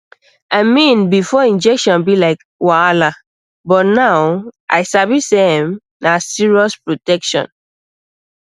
i mean before injection be like wahala but now i sabi say ehm na serious protection